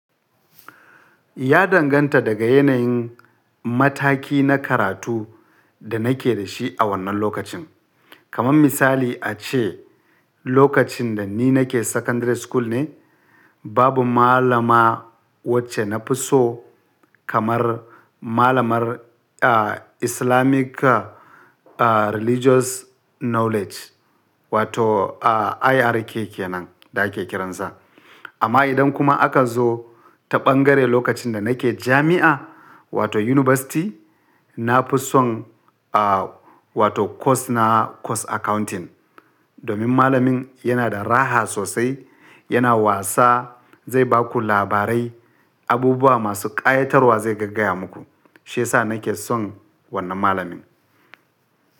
Ya danganta daga yanayin mataki na karatu da nake da shi a wannan lokacin. Kaman misali ace lokacin da ni nake secondary school ne babu malama wacce na fi so kamar malamar Islamic Religious Knowledge wato IRK kenan da ake kiransa. Amma idan kuma aka zo ta bangare lokacin da nake jami'a wato university, na fi son a wato course na course accounting domin malamin yana da raha sosai, yana wasa, zai ba ku labarai, abubuwa masu ƙayatarwa zai gaggaya muku. Shi ya sa nake son wannan malamin.